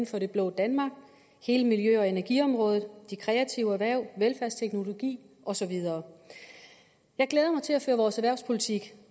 for det blå danmark hele miljø og energiområdet de kreative erhverv velfærdsteknologien og så videre jeg glæder mig til at føre vores erhvervspolitik